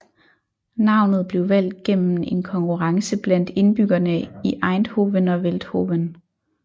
Navnet blev valgt gennem en konkurrence blandt indbyggerne i Eindhoven og Veldhoven